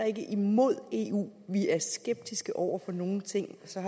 ikke er imod eu vi er skeptiske over for nogle ting så